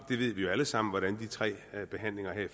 vi ved jo alle sammen hvordan de tre behandlinger her i